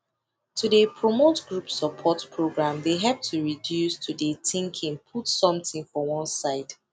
to de promote group support program de help to reduce to de thinking put someting for one side